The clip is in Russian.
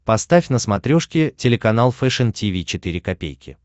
поставь на смотрешке телеканал фэшн ти ви четыре ка